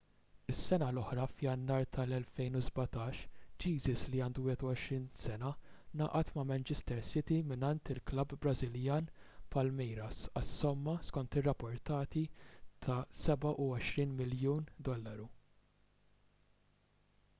is-sena l-oħra f'jannar tal-2017 jesus li għandu 21 sena ngħaqad ma' manchester city mingħand il-klabb brażiljan palmeiras għas-somma skont ir-rapporti ta' £27 miljun